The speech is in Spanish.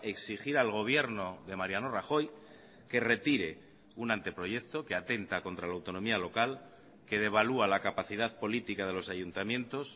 exigir al gobierno de mariano rajoy que retire un anteproyecto que atenta contra la autonomía local que devalúa la capacidad política de los ayuntamientos